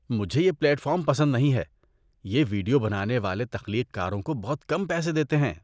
مجھے یہ platform پسند نہیں ہے۔ یہ ویڈیو بنانے والے تخلیق کاروں کو بہت کم پیسے دیتے ہیں۔